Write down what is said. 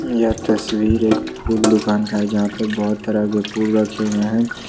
यह तस्वीर एक फूल दुकान का है जहां पे बहोत तरह के फूल रखे हुए हैं।